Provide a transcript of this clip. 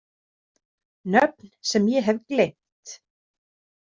Nöfn sem ég hef gleymt.